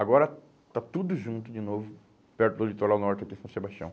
Agora está tudo junto de novo, perto do litoral norte, aqui em São Sebastião.